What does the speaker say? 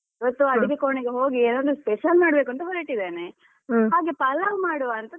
ಇವತ್ತು ಅಡಿಗೆ ಕೋಣೆಗೆ ಹೋಗಿ ಏನಾದ್ರೂ special ಮಾಡ್ಬೇಕು ಅಂತ ಹೊರಟಿದ್ದೇನೆ ಹಾಗೆ ಪಲಾವ್ ಮಾಡ್ವಾ ಅಂತ.